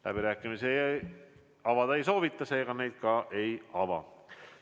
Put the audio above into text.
Läbirääkimisi pidada ei soovita, seega neid ka ei ava.